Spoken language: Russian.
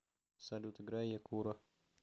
салют играй якуро